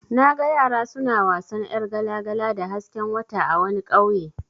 Naga yara suna wasan yar gala-gala da hasken wata a wani ƙauye.